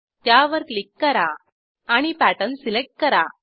त्यावर क्लिक करा आणि पॅटर्न सिलेक्ट करा